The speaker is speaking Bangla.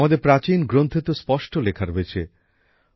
আমাদের প্রাচীন গ্রন্থে তো স্পষ্ট লেখা রয়েছেঃ